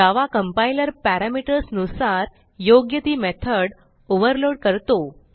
जावा compiler parameters नुसार योग्य ती मेथड ओव्हरलोड करतो